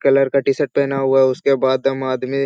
colour का T-shirt पहना हुआ है उसके बाद हम आदमी --